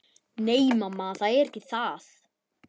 Nei, mamma, það er ekki það.